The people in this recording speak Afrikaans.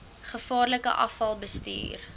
gevaarlike afval bestuur